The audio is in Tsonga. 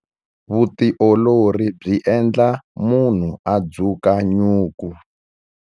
Vutiolori byi endla munhu a dzuka nyuku.